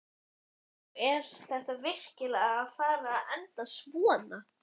Og er þetta virkilega að fara að enda svona?